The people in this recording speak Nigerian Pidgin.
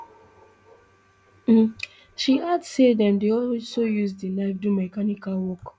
she add say dem dey also use di knife do mechanical work